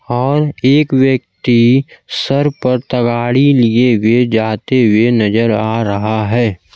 और एक व्यक्ति सर पर तगाड़ी लिए हुए जाते हुए नजर आ रहा है।